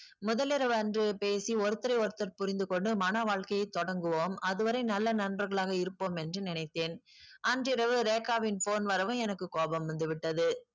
முதலிரவு அன்று பேசி ஒருத்தரை ஒருத்தர் புரிந்து கொண்டு மண வாழ்க்கையை தொடங்குவோம் அதுவரை நல்ல நண்பர்களாக இருப்போம் என்று நினைத்தேன் அன்று இரவு ரேகாவின் phone வரவும் எனக்கு கோபம் வந்து விட்டது